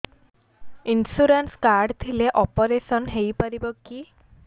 insurance card ଥିଲେ operation ହେଇପାରିବ କି